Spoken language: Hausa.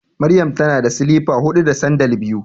Maryam tana da silifa huɗu da sandal biyu.